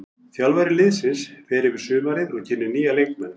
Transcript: Þjálfari liðsins fer yfir sumarið og kynnir nýja leikmenn.